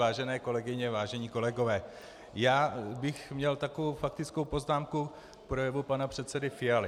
Vážené kolegyně, vážení kolegové, já bych měl takovou faktickou poznámku k projevu pana předsedy Fialy.